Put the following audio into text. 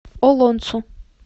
олонцу